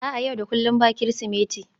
a'a, yau da kullum ba Kirsimeti